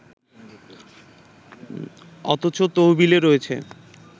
অথচ তহবিলে রয়েছে